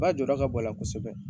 Ba jɔ da ka bo a la kosɛbɛ.